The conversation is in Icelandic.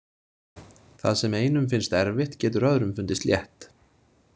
Það sem einum finnst erfitt getur öðrum fundist létt.